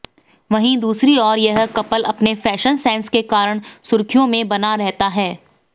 वहीं दूसरी ओर यह कपल अपने फैशन सेंस के कारण सुर्खियों में बना रहता है